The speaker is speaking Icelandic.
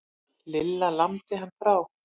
Lilla lamdi hann frá.